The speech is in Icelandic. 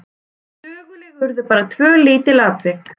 Söguleg urðu bara tvö lítil atvik.